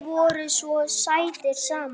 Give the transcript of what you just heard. Þið voruð svo sætir saman.